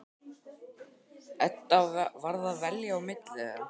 Edda varð að velja á milli þeirra.